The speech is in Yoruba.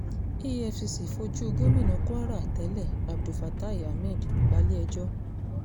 efcc fojú gómìnà kwara tẹ́lẹ̀ abdulfatai ahmed balẹ̀-ẹjọ́